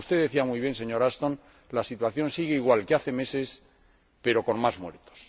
Y, como usted decía muy bien, señora Ashton, la situación sigue igual que hace meses, pero con más muertos.